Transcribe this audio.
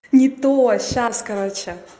не то а сейчас короче